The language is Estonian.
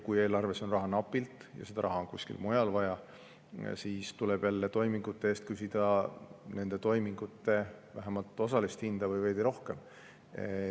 Kui eelarves on raha napilt ja seda raha on kuskil mujal vaja, siis tuleb jälle toimingute eest küsida vähemalt osalist toimingu hinda või veidi rohkem.